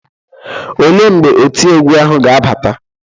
Olee mgbe oti egwu ahụ ga-abata?